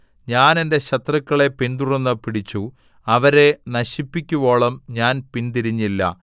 ഞാൻ എന്റെ ശത്രുക്കളെ പിന്തുടർന്ന് പിടിച്ചു അവരെ നശിപ്പിക്കുവോളം ഞാൻ പിന്തിരിഞ്ഞില്ല